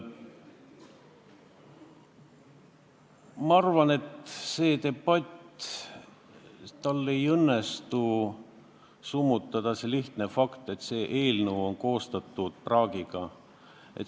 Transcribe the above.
Ma arvan, et sellel debatil ei õnnestu summutada seda lihtsat fakti, et see eelnõu on praak.